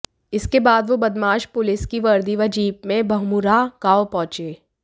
इसके बाद वो बदमाश पुलिस की वर्दी व जीप में बमुरहा गांव पहुंचे